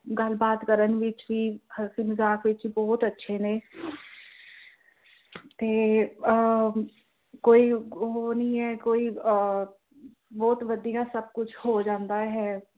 ਗੱਲਬਾਤ ਵਿੱਚ ਵੀ ਹੱਸੀ ਮਜ਼ਾਕ ਵੀ ਬਹੁਤ ਅੱਛੇ ਨੇ ਤੇ ਅਹ ਕੋਈ ਉਹ ਨਹੀਂ ਹੈ ਕਿ ਕੋਈ, ਬਹੁਤ ਵਧੀਆ ਸਭ ਕੁਝ ਹੋ ਜਾਂਦਾ ਹੈ।